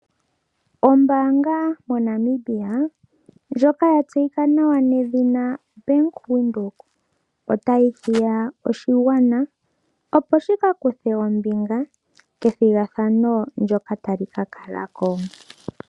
Ombaanga moNamibia ndjoka ya tseyika nawa nedhina Bank Windhoek, otayi hiya oshigwana opo shi ka kuthe ombinga methigathano ndjoka tali mka kalako.